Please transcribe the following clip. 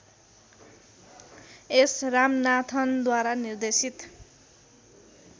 S रामनाथनद्वारा निर्देशित